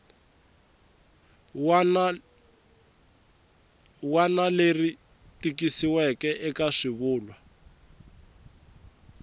wana leri tikisiweke eka swivulwa